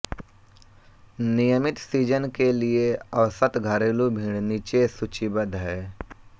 नियमित सीजन के लिए औसत घरेलू भीड़ नीचे सूचीबद्ध हैं